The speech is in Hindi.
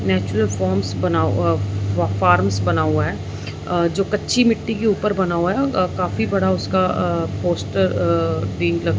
नेचुरल फोम्स बना अअ फॉर्म्स बना हुआ है जो अ कच्ची मिट्टी के ऊपर बना हुआ है अ काफी बड़ा उसका अ पोस्टर अअ प्रिंट --